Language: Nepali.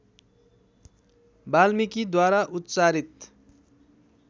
वाल्मिकीद्वारा उच्चारित